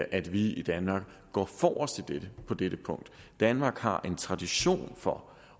at vi i danmark går forrest på dette punkt danmark har en tradition for